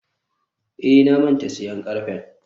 eh, na manta siyan karfen.